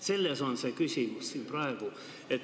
Selles on praegu küsimus.